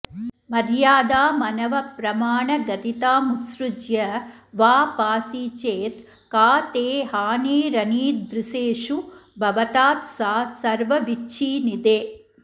मर्यादामनवप्रमाणगदितामुत्सृज्य वा पासि चेत् का ते हानिरनीदृशेषु भवतात् सा सर्वविच्छीनिधे